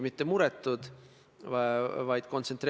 Mõned koosseisud tagasi olid kõvad vaidlused.